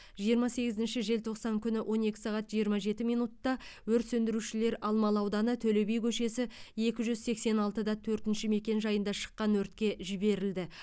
жиырма сегізінші желтоқсан күні он екі сағат жиырма жеті минутта өрт сөндірушілер алмалы ауданы төле би көшесі екі жүз сексен алты да төртінші мекенжайында шыққан өртке жіберілді